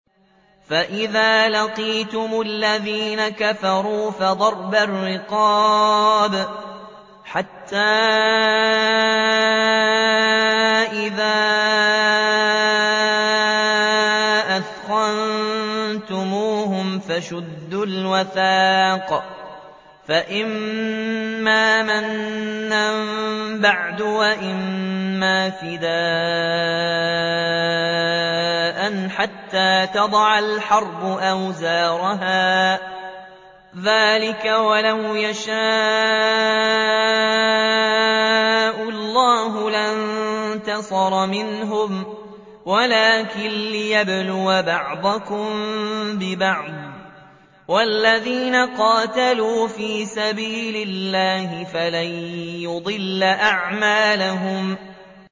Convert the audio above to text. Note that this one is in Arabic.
فَإِذَا لَقِيتُمُ الَّذِينَ كَفَرُوا فَضَرْبَ الرِّقَابِ حَتَّىٰ إِذَا أَثْخَنتُمُوهُمْ فَشُدُّوا الْوَثَاقَ فَإِمَّا مَنًّا بَعْدُ وَإِمَّا فِدَاءً حَتَّىٰ تَضَعَ الْحَرْبُ أَوْزَارَهَا ۚ ذَٰلِكَ وَلَوْ يَشَاءُ اللَّهُ لَانتَصَرَ مِنْهُمْ وَلَٰكِن لِّيَبْلُوَ بَعْضَكُم بِبَعْضٍ ۗ وَالَّذِينَ قُتِلُوا فِي سَبِيلِ اللَّهِ فَلَن يُضِلَّ أَعْمَالَهُمْ